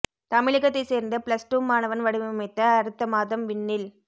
தமிழகத்தை சேர்ந்த plus two மாணவன் வடிவமைத்த அடுத்த மாதம் விண்ணில்